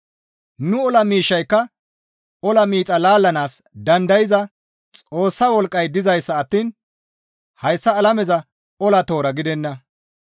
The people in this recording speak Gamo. Nu ola miishshayka ola miixa laallanaas dandayza Xoossa wolqqay dizayssa attiin hayssa alameza ola toora gidenna.